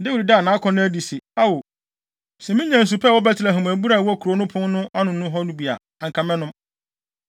Dawid daa nʼakɔnnɔ adi se, “Ao, sɛ minya nsu pa a ɛwɔ Betlehem abura a ɛwɔ kurow no pon no ano hɔ no bi a, anka mɛnom.”